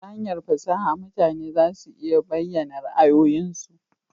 Ta hanyar fasaha mutane za su iya bayyana ra'ayoyinsu